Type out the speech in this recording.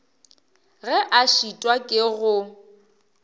ge a šitwa ke go